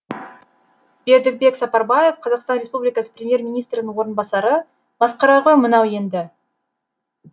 бердібек сапарбаев қазақстан республикасы премьер министрінің орынбасары масқара ғой мынау енді